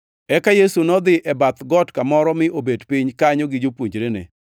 Eka Yesu nodhi e bath got kamoro mi nobet piny kanyo gi jopuonjrene.